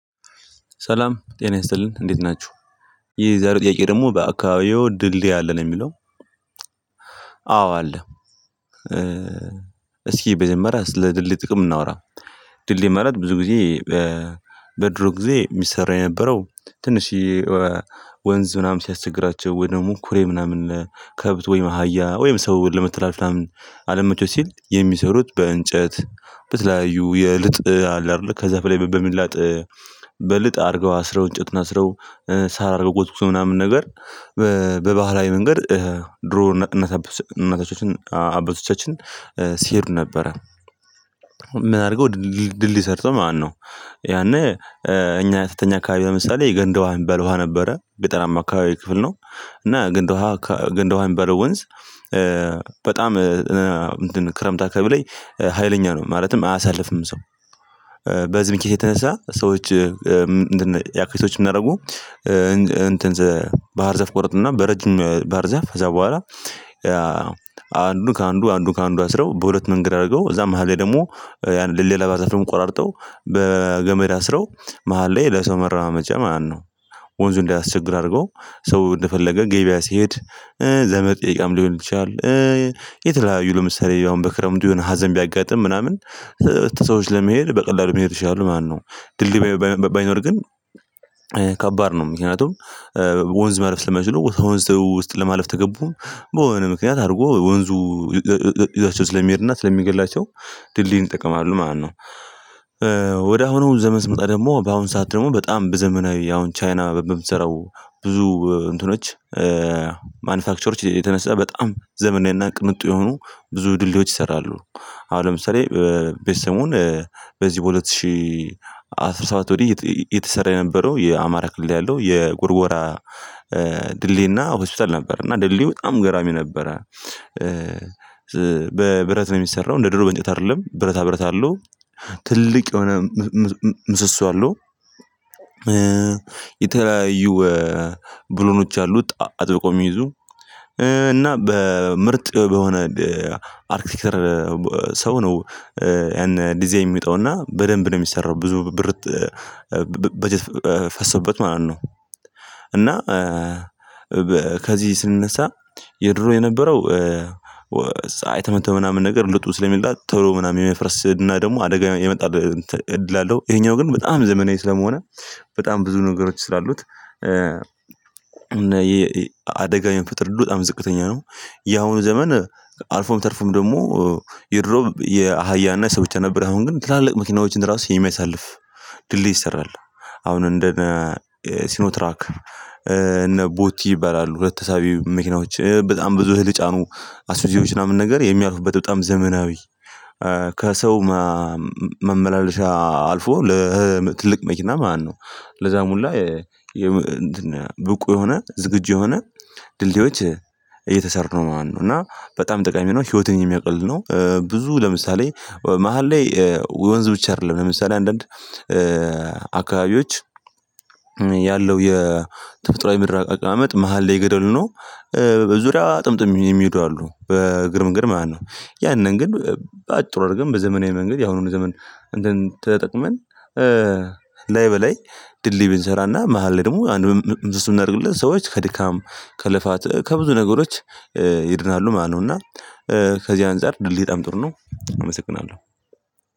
ሰላም ጤና ይስጥልን እንዴት ናችሁ። የዛሬው ጥያቄ ደግሞ በአካባቢዎ ድልድይ አለ ነው የሚለው? አዎ አለ። እስኪ በጀመራ ስለድልድይ ጥቅም እናውራ። ድልድይ ማለት ብዙ ጊዜ። በድሮ ጊዜ ሚሰራ የነበረው ትንሽየ ወንዝ ምናምን ሲያስቸግራቸው ወይ ደሞ ኩሬ ምናምን ከብት ወይም አህያ ወይም ሰው ለመተላለፍ ምናምን አልመቼው ሲል የሚሰሩት በእንጨት በተለያዩ የልጥ አለ አይደለ ከዛፍ ላይ በሚላጥ በልጥ አርገው አስረው እንጨቱን አስረው ሳር ጎዝጉዘው ምናምን ነገር። በባህላዊ መንገድ ድሮ እናት አባቶቻችን ሲሄዱ ነበረ። ምን አርገው ድል ድልድይ ሰርተው ማለት ነው። ያኔ እኛ የተተኛ አካባቢ ለምሳሌ የገንዳ ውሃ የሚባል ውሃ ነበረ ገጠራማ አካባቢ ክፍል ነው እና ገንዳ ውሃ ገንዳ ውሃ ሚባለው ወንዝ። በጣም እ እንትን ክረምት አካባቢ ላይ ሀይለኛ ነው ማለትም አያሳልፍም ሰው። በዚህ ምክንያት የተነሳ ሰዎች ያክሪቶች ምን አረጉ? ባህር ዛፍ ቆረጡና በረጅም ባህር ዛፍ ከዛ በኋላ አንዱን ካአንዱ አንዱን ካአንዱ አስረው በሁለት መንገድ አርገው እዛ መሃል ላይ ደግሞ ያንን ለሌላ ባህር ዛፍ ደግሞ ቆራርጠው በገመድ አስረው መሃል ላይ ለሰው መረማመጃ ማለት ነው። ወንዙ እንዳያስቸግር አድርገው ሰው እንደፈለገ ገበያ ሲሄድ ዘመድ ጥየቃም ሊሆን ይችላል። የተለያዩ ለምሳሌ አሁን በክረምቱ የሆነ ሀዘን ቢያጋጥም ምናምን ሰዎች ለመሄድ በቀላሉ መሄድ ይችላሉ ማለት ነው። ድልድይ ባይኖር ግን ከባድ ነው። ምክንያቱም ወንዝ ማለፍ ስለማይችሉ ከወንዝ ውስጥ ለማለፍ ተገቡ በሆነ ምክንያት አድርጎ ወንዙ ይዟቸው ስለሚሄድና ስለሚገድላቸው ድልድዩን ይጠቀማሉ ማለት ነው። ወደ አሁኑ ዘመን ስንመጣ ደግሞ በአሁን ሰዓት ደግሞ በጣም በዘመናዊ አሁን ቻይና በምትሰራው ብዙ እንትኖች ማኑፋክቸሮች የተነሳ በጣም ዘመናዊ እና ቅንጡ የሆኑ ብዙ ድልድዮች ይሰራሉ። አሁን ለምሳሌ በይሰሞን በዚህ በሁለት ሺህ አስራ ሰባት ወዲህ እየተሰራ የነበረው የአማራ ክልል ያለው የጎርጎራ ድልድይና ሆስፒታል ነበር እና ድልድዩ በጣም ገራሚ ነበረ። በብረት ነው ሚሰራው እንደ ድሮው በእንጨት አይደለም ብረታ ብረት አለው። ትልቅ የሆነ ምሰሶ አለው። የተለያዩ ብሎኖች አሉት አጥብቀው ሚይዙ እና በምርጥ በሆነ አርክቲከር ሰው ነው። ያን ዲዛይን የሚወጣውና በደንብ ነው ሚሰራው ብዙ ብር በጀት ፈሶበት ማለት ነው። እና ከዚህ ስንነሳ የድሮ የነበረው ፀሀይ ተመቶ ምናምን ነገር ልጡ ስለሚላጥ ቶሎ ምናምን የመፍረስ እና ደግሞ አደጋ የመጣል እድል አለው። ይሄኛው ግን በጣም ዘመናዊ ስለመሆነ በጣም ብዙ ነገሮች ስላሉት እና የ አደጋ የመፈጠር እድሉ በጣም ዝቅተኛ ነው። ያሁኑ ዘመን አልፎም ተርፎም ደግሞ የድሮ የአህያና ሰዎች ነበር አሁን ግን ትላልቅ መኪናዎችን ራሱ የሚያሳልፍ ድልድይ ይሰራል። አሁን እንደነ ሲኖትራክ እነ ቦቲ ይባላሉ ሁለት ተሳቢ መኪናዎች በጣም ብዙ እህል የጫኑ አሱዚዎች ምናምን ነገር የሚያልፉበት በጣም ዘመናዊ ከሰው ማመላለሻ አልፎ ለትልቅ መኪና ማለት ነው። ለዛም ሁላ ብቁ የሆነ ዝግጁ የሆነ ድልድዮች እየተሰሩ ነው ማለት ነው። እና በጣም ጠቃሚ ነው ህይወትን የሚያቀል ነው። ብዙ ለምሳሌ መሃል ላይ ወንዝ ብቻ አይደለም ለምሳሌ አንዳንድ አካባቢዎች የተፈጥሮአዊ ምድር አቀማመጥ መሃል ላይ ገደል ሆኖ በዙሪያ ጥምጥም የሚሄዱ አሉ በእግር መንገድ ማለት ነው። ያንን ግን በአጭሩ አድርገን በዘመናዊ መንገድ ያሁኑን ዘመን ተጠቅመን ላይ በላይ ድልድይ ብንሰራና መሃል ላይ ደግሞ አንድ ምን እናድርግለት ሰዎች ከድካም ከልፋት ከብዙ ነገሮች ይድናሉ ማለት ነው። እና ከዚህ አንፃር ድልድይ በጣም ጥሩ ነው። አመሰግናለሁ።